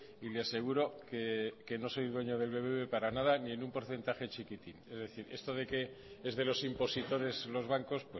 y le aseguro que no soy dueño del bbv para nada ni en un porcentaje chiquitín es decir esto de que es de los impositores los bancos